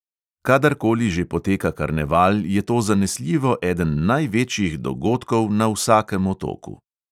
Kadarkoli že poteka karneval, je to zanesljivo eden največjih dogodkov na vsakem otoku.